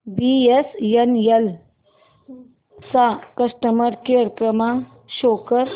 BSNL चा customer care क्रमांक show कर